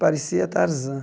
Parecia Tarzan.